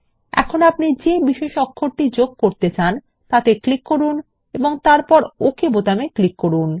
এখন আপনি যে বিশেষ অক্ষর যোগ করতে চান তাতে ক্লিক করুন এবং তারপর ওকে বোতামে ক্লিক করুন